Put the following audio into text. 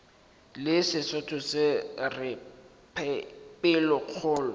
le sesotho se re pelokgolo